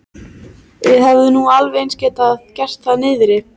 Við hefðum nú alveg eins getað gert það niðri.